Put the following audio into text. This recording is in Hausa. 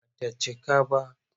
Ba ta cika ba.